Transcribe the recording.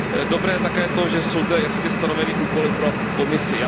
Dobré je také to, že jsou zde jasně stanoveny úkoly pro Komisi.